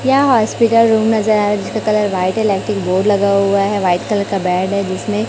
यहां hospital room नजर आरा जिसका कलर व्हाइट है इलेक्ट्रिक बोर्ड लगा हुआ है व्हाइट कलर का बेड है जिसमें--